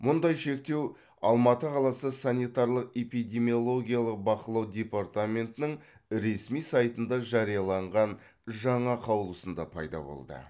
мұндай шектеу алматы қаласы санитарлық эпидемиологиялық бақылау департаментінің ресми сайтында жарияланған жаңа қаулысында пайда болды